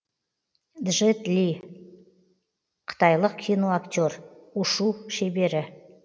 джет ли қытайлық киноактер ушу шебері